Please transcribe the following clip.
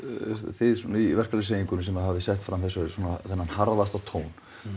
þið í verkalýðshreyfingunni sem hafið sett fram þennan harðasta tón